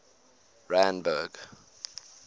randburg